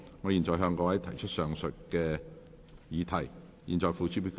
我現在向各位提出上述待決議題，付諸表決。